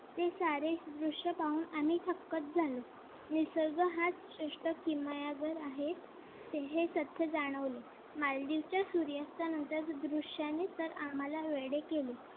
ते सारे दृश्य पाहून आम्ही थक्कच झालो. निसर्ग हाच श्रेष्ठ किमया घर आहे. हे सत्य जाणवलं. मालदीवच्या सूर्यास्तानंतर दृश्याने तर आम्हाला वेडे केले.